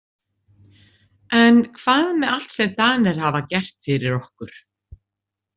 En hvað með allt sem Danir hafa gert fyrir okkur?